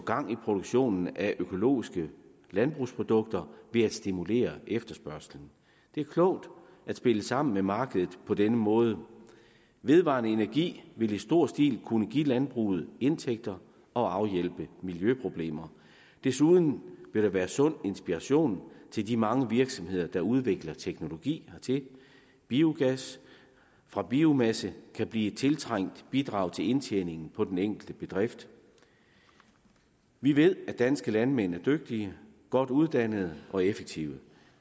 gang i produktionen af økologiske landbrugsprodukter ved at stimulere efterspørgslen det er klogt at spille sammen med markedet på denne måde vedvarende energi vil i stor stil kunne give landbruget indtægter og afhjælpe miljøproblemer desuden vil der være sund inspiration til de mange virksomheder der udvikler teknologi hertil biogas fra biomasse kan blive et tiltrængt bidrag til indtjeningen på den enkelte bedrift vi ved at danske landmænd er dygtige godt uddannede og effektive